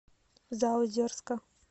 заозерска